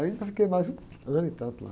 Aí eu ainda fiquei mais um ano e tanto lá.